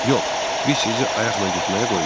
Yox, biz sizi ayaqla getməyə qoymarıq.